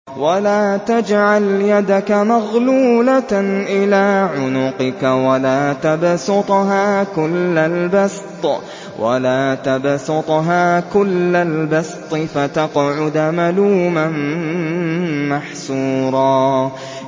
وَلَا تَجْعَلْ يَدَكَ مَغْلُولَةً إِلَىٰ عُنُقِكَ وَلَا تَبْسُطْهَا كُلَّ الْبَسْطِ فَتَقْعُدَ مَلُومًا مَّحْسُورًا